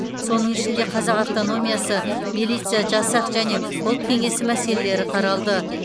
соның ішінде қазақ автономиясы милиция жасақ және ұлт кеңесі мәселелері қаралды